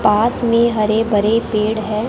पास में हरे भरे पेड़ हैं।